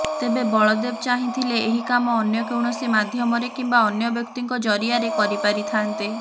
ତେବେ ବଳଦେବ ଚାହିଁଥିଲେ ଏହି କାମ ଅନ୍ୟ କୌଣସି ମାଧ୍ୟମରେ କିମ୍ବା ଅନ୍ୟ ବ୍ୟକ୍ତିଙ୍କ ଜରିଆରେ କରିପାରିଥାନ୍ତେ